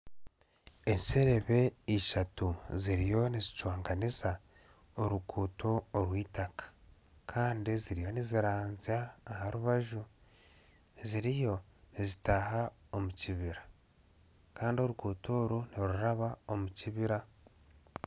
Enserebe ishatu ziriyo nizicwanganiza oruguuto orw'itaka Kandi ziriyo niziranzya aharubaju ziriyo nizitaha omukibira Kandi oruguuto oru niruraba omukibira